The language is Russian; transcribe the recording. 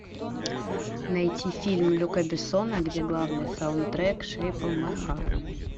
найти фильм люка бессона где главный саундтрек шейп оф май харт